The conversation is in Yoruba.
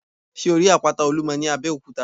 Sé o rí àpáta Olúmo ní Abéòkúta?